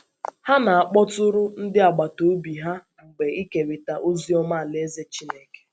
Ha na - akpọtụrụ ndị agbata obi ha mgbe mgbe ikerịta ozi ọma Alaeze Chineke.